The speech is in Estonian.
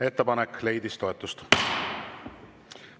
Ettepanek leidis toetust.